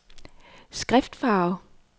skriftfarve